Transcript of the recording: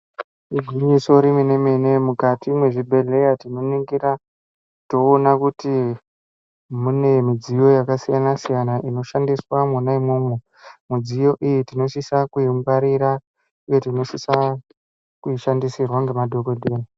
Igwinyiso remene-mene, mukati mwezvibhedhleya, tinoningira toona kuti mune midziyo yakasiyana-siyana, inoshandiswa mwona imwomwo, midziyo iyi tinosisa kuyingwarira ,uye tinosisa kuyishandisirwa ngemadhokodheya.